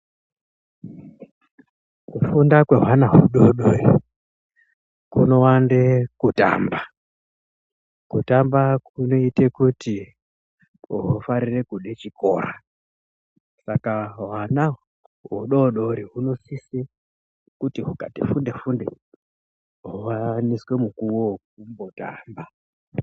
Kufunda kwehwana hudoodori kunowande kutamba. Kutamba kunoite kuti hufarire kude chikora. Saka hwana hudoodori hunosise kuti hukati funde-funde, howaniswe mukuwo wokumbotamba.